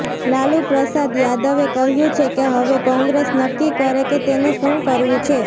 લાલૂ પ્રસાદ યાદવે કહ્યું છે કે હવે કોંગ્રેસ નક્કી કરે કે તેને શું કરવું છે